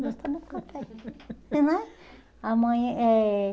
Nós tomamos café. Porque né amanhã eh